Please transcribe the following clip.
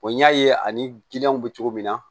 n y'a ye ani bɛ cogo min na